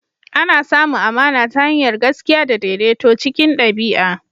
Ana samun amana ta hanyar gaskiya da daidaito cikin ɗabi'a.